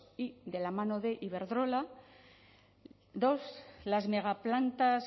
y de la mano de iberdrola dos las megaplantas